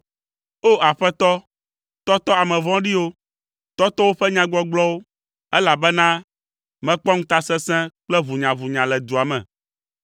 O! Aƒetɔ, tɔtɔ ame vɔ̃ɖiwo, tɔtɔ woƒe nyagbɔgblɔwo, elabena mekpɔ ŋutasesẽ kple ʋunyaʋunya le dua me.